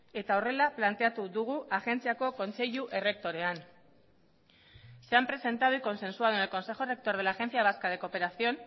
eta horrela planteatu dugu agentziako kontseilu errektorean se han presentado y consensuado en el consejo rector de la agencia vasca de cooperación